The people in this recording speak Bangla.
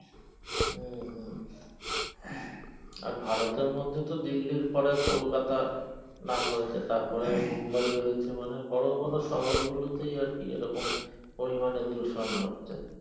হম হম, আর ভারতের মধ্যে তো দিল্লির পরে কলকাতা নাম রয়েছে তারপরে মুম্বাই রয়েছে মানে বড় বড় শহর গুলোতেই আর কি এইরকম পরিমানে দূষণ হচ্ছে.